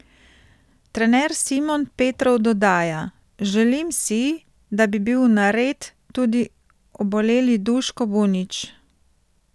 Trener Simon Petrov dodaja: "Želim si, da bi bil nared tudi oboleli Duško Bunić.